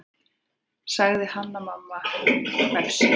sagði Hanna-Mamma hvefsin.